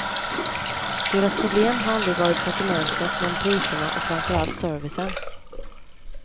Deras problem har aldrig varit sortimentet men priserna och framför allt servicen.